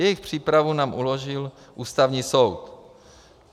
Jejich přípravu nám uložil Ústavní soud.